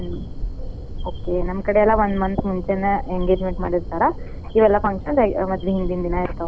Okay ನಮ್ ಕಡೆಲ್ಲಾ ಒಂದ್ month ಮುಂಚೇನ engagement ಮಾಡಿರ್ತಾರ ಇವೆಲ್ಲ function ಮದ್ವಿ ಹಿಂದಿನ್ ದಿನಾ ಇರ್ತವ್.